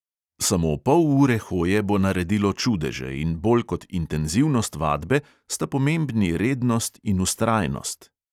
Samo pol ure hoje bo naredilo čudeže in bolj kot intenzivnost vadbe sta pomembni rednost in vztrajnost.